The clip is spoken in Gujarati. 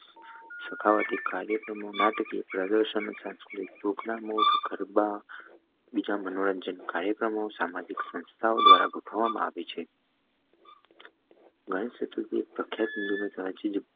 સખાવતી કાર્યો, નાટકીય પ્રદર્શન, અનેક સાંસ્કૃતિક સામાજિકસંસ્થાઓ દ્વારા ગોઠવામાં આવે છે. ગણેશ ચતુર્થી, એક પ્રખ્યાત હિન્દુ પ્રાચીન